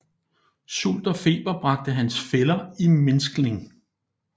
Sult og feber bragte hans fæller i mindskning